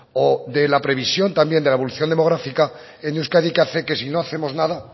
o de la previsión también de la evolución demográfica en euskadi que hace que si no hacemos nada